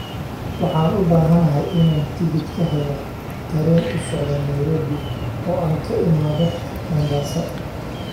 waxaan u baahanahay inaan tigidh ka helo tareen u socda nairobi oo aan ka imaado mombasa